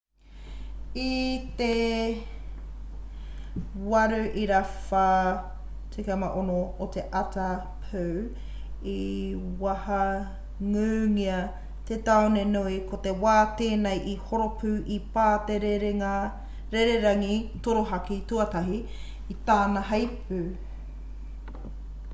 i te 8:46 o te ata pū i wahangūngia te tāone nui ko te wā tēnei i horo pū i pā te rererangi torohaki tuatahi i tana heipū